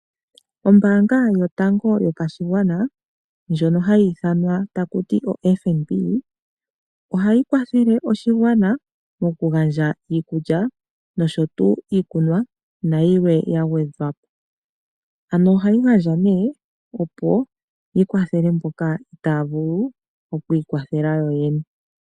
Ombaanga yotango yopashigwana ndjono hayi ithanwa taku ti oFNB ohayi kwathele oshigwana mokugandja iikulya, nosho tuu iikunwa nayilwe ya gwedhwapo. Ano ohayi gandja nee opo yi kwathele mboka itaya vulu oku ikwathela yoyene.